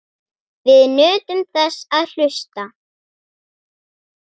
Við nutum þess að hlusta.